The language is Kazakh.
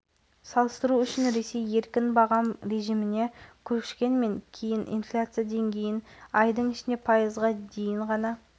басшысының айтуынша жаз айларында инфляция пайыздан жоғары деңгейде болды ал небәрі айдың ішінде оның есеге төмендеуі ұлттық банк жүргізіп отырған саясаттың